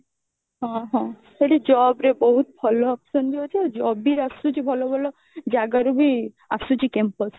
ହଁ ହଁ ସେଠି job ରେ ବହୁତ ଭଲ option ବି ଅଛି ଆଉ job ବି ଆସୁଛି ଭଲ ଭଲ ଜାଗାର ବି ଆସୁଛି campus